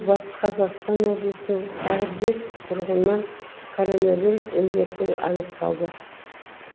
батыс қазақстан облысының тағы бес тұрғынынан коронавирус індеті анықталды